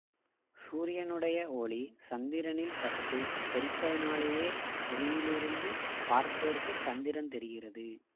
சூரியனுடைய ஒளி சந்திரனில் பட்டுத் தெறிப்பதனாலேயே புவியிலிருந்து பார்ப்போருக்குச் சந்திரன் தெரிகிறது